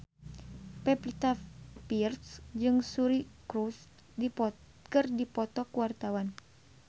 Pevita Pearce jeung Suri Cruise keur dipoto ku wartawan